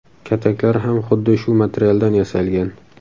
Kataklar ham xuddi shu materialdan yasalgan.